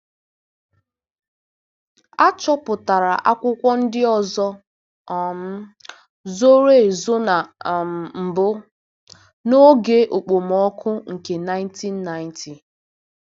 A chọpụtakwara akwụkwọ ndị ọzọ um zoro ezo na um mbụ, n'oge okpomọkụ nke 1990.